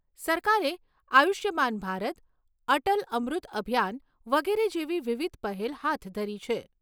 સરકારે આયુષ્માન ભારત, અટલ અમૃત અભિયાન વગેરે જેવી વિવિધ પહેલ હાથ ધરી છે.